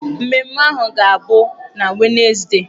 Mmemme ahụ ga-abụ na Wenezdee.